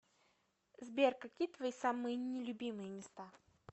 сбер какие твои самые не любимые места